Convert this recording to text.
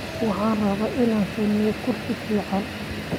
Waxaan rabaa inaan sameeyo kursi fiican.